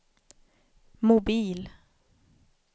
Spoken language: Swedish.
mobil